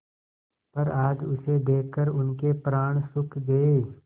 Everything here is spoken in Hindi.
पर आज उसे देखकर उनके प्राण सूख गये